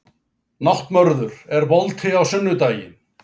Náttmörður, er bolti á sunnudaginn?